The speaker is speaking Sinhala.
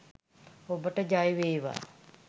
ඔබට ජය වේවා!